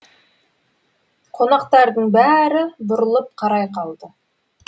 қонақтардың бәрі бұрылып қарай қалды